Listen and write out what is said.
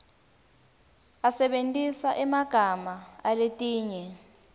asebentisa emagama aletinye